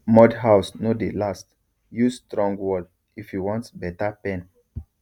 mud house no dey last use strong wall if you want better pen